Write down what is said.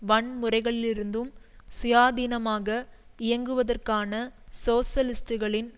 வன்முறைகளிலிருந்தும் சுயாதீனமாக இயங்குவதற்கான சோசலிஸ்டுகளின்